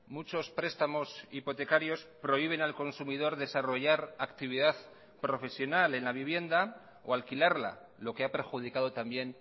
muchos prestamos hipotecarios prohíben al consumidor desarrollar actividad profesional en la vivienda o alquilarla lo que ha perjudicado también